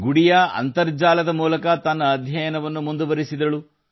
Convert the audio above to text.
ಗುಡಿಯಾ ಅಂತರ್ಜಾಲದ ಮೂಲಕ ತನ್ನ ಅಧ್ಯಯನವನ್ನು ಮುಂದುವರಿಸಿದರು